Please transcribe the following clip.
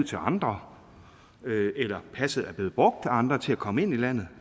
til andre eller passet er blevet brugt af andre til at komme ind i landet